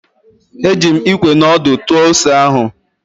Eji m Ikwe na ọdụ tụọ ose ahụ.